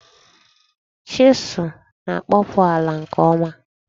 Chisụl na-akpọpu ala nke ọma.